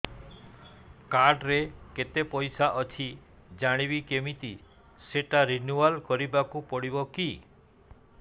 card ରେ କେତେ ପଇସା ଅଛି ଜାଣିବି କିମିତି ସେଟା ରିନୁଆଲ କରିବାକୁ ପଡ଼ିବ କି